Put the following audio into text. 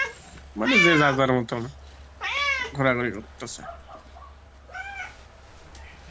মানে যে যার যার মত ঘোরাঘুরি করতেসে